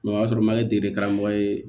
o y'a sɔrɔ majɛ de kɛra karamɔgɔ ye